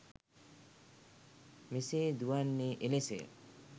මෙසේ දුවන්නේ එලෙසය.